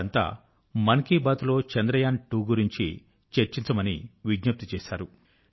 వారెంతా మన్ కీ బాత్ లో చంద్రయాన్ 2 గురించి రిక్వెస్ట్ చేశారు